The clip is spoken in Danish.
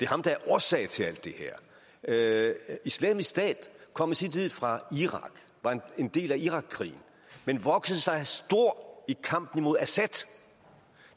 ham der er årsag til alt det her islamisk stat kom i sin tid fra irak var en del af irakkrigen men voksede sig stor i kampen mod assad